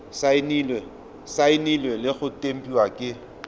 saenilwe le go tempiwa ke